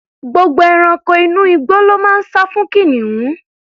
Gbogbo ẹranko inú igbó ló máa ń sá fún kìnìún.